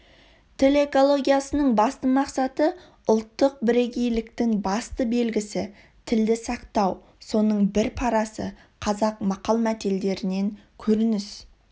тіл экологиясының басты мақсаты ұлттық бірегейліктің басты белгісі тілді сақтау соның бір парасы қазақ мақал-мәтелдерінен көрініс